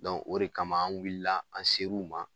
o de kama an wulila an ser'u ma